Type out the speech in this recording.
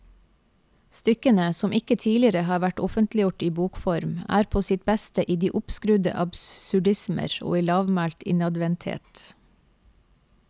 Stykkene, som ikke tidligere har vært offentliggjort i bokform, er på sitt beste i de oppskrudde absurdismer og i lavmælt innadvendthet.